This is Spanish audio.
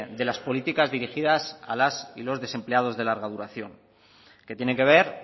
de las políticas dirigidas a las y los desempleados de larga duración que tienen que ver